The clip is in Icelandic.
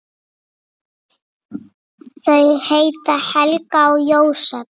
Þau heita Helga og Jósep.